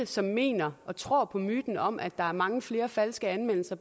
som mener og tror på myten om at der er mange flere falske anmeldelser